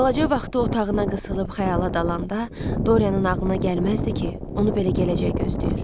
Balaca vaxtı otağına qısılıb xəyala dalanda Dorianın ağlına gəlməzdi ki, onu belə gələcək gözləyir.